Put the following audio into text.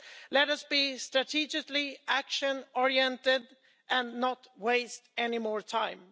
Let us be strategically action oriented and not waste any more time.